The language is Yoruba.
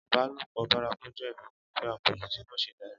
ìbálòpọ̀ bárakú jẹ́ ìfẹ́kùfẹ́ àpọ̀jù tí kò ṣeé darí